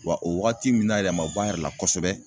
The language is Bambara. Wa o wagati min na yɛrɛ a ma bɔ a yɛrɛ la kosɛbɛ